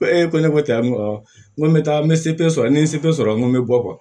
Ko e ko ne ko cɛ an ma awɔ n ko n bɛ taa n bɛ sɔrɔ ni n ye sɔrɔ n ko n bɛ bɔ